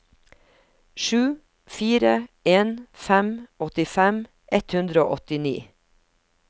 sju fire en fem åttifem ett hundre og åttini